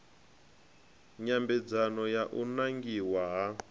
nyambedzano ya u nangiwa ha